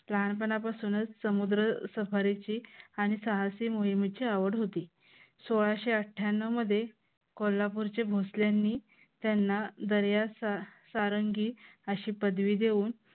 लहानपणापासूनच समुद्र सफारीची आणि सहा सी मोहिमेची आवड होती. सोळाशे अठ्ठ्यांनव मध्ये कोल्हापूरच्या भोसल्यांनी त्यांना दर्याचा सारंगी अशी पदवी देऊन